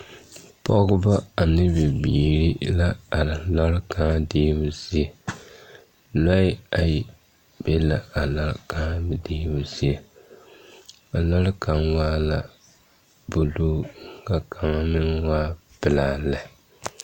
Pͻgebͻ ane bibiiri la are lͻre kaa deebo zie. Lͻԑ ayi be la a lͻ kãã deebo zie. A lͻre kaŋ waa la buluu ka kaŋa meŋ waa pelaa lԑ.